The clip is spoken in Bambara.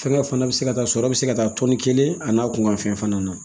Fɛngɛ fana bɛ se ka taa sɔrɔ a bi se ka taa tɔni kelen ani n'a kun ka fɛn fana na